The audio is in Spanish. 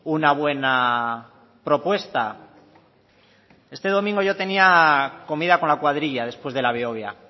una buena propuesta este domingo yo tenía comida con la cuadrilla después de la behobia